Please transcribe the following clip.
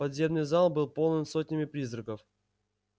подземный зал был полон сотнями призраков